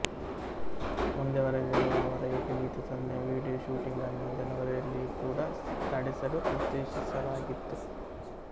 ಮುಂದೆ ಬರಲಿರುವ ಅವರ ಏಕಗೀತೆ ಸೊನ್ನೆಯ ವಿಡಿಯೋ ಶೂಟಿಂಗ್ಅನ್ನು ಜನವರಿಯಲ್ಲಿಯೂ ಕೂಡ ನಡೆಸಲು ಉದ್ದೇಶಿಸಲಾಗಿತ್ತು